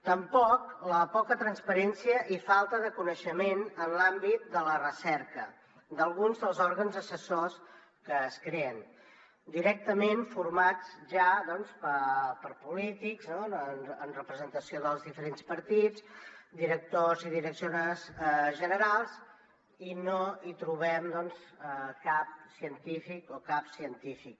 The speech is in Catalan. tampoc la poca transparència i falta de coneixement en l’àmbit de la recerca d’alguns dels òrgans assessors que es creen directament formats ja per polítics en representació dels diferents partits directors i directores generals i no hi trobem doncs cap científic o cap científica